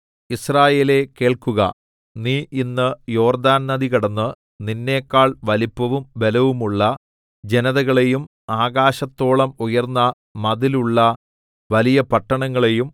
യിസ്രായേലേ കേൾക്കുക നീ ഇന്ന് യോർദ്ദാൻ നദി കടന്ന് നിന്നെക്കാൾ വലിപ്പവും ബലവുമുള്ള ജനതകളെയും ആകാശത്തോളം ഉയർന്ന മതിലുള്ള വലിയ പട്ടണങ്ങളെയും